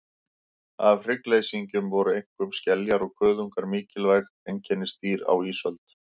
Af hryggleysingjum voru einkum skeljar og kuðungar mikilvæg einkennisdýr á ísöld.